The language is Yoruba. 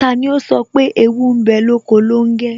Tani ó sọ pé "Ewu ń bẹ lóko longe?